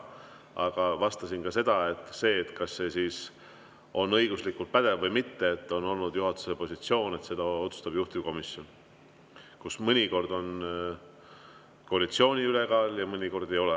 Aga vastasin ka seda, kas see on õiguslikult pädev või mitte: juhatusel on olnud positsioon, et seda otsustab juhtivkomisjon, kus mõnikord on koalitsiooni ülekaal ja mõnikord ei ole.